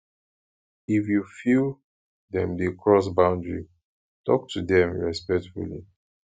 if you feel dem dey cross boundary talk to dem respectfully